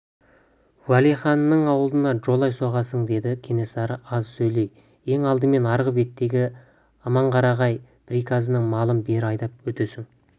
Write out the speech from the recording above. уәлиханның ауылына жолай соғасың деді кенесары аз сөйлей ең алдымен арғы беттегі аманқарағай приказының малын бері айдап өтесің